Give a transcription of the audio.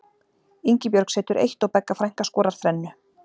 Ingibjörg setur eitt og Begga frænka skorar þrennu.